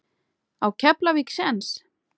Á Keflavík séns?